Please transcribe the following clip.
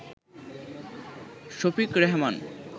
Shafiq Rehman